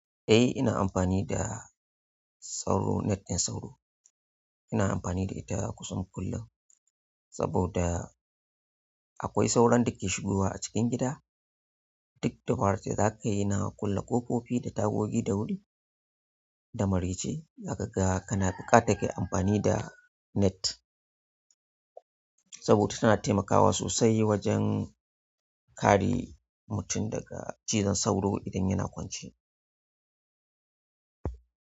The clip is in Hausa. Eh ina amfani da sauro net ɗin sauro. Ina amfani da ita kusan kullum saboda akwai sauron da ke shigowa a cikin gida. Duk da dabarar da za ka yi na kulle ƙofofi da tagogi da wuri da maraice, zaka ga kana buƙatar kayi amfani da net saboda tana taimakawa sosai wajen kare mutum daga cizon sauro idan yana kwance.